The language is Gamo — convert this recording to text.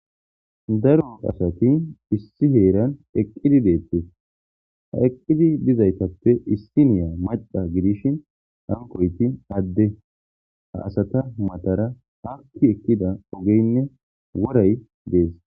Daro asati issi heeran eqqidi deettes. Ha eqqizi dizaytappe issiniya macca gidishin hankoyti adde ha asata matara hakki ekkida ogeynne woray dees.